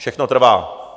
Všechno trvá.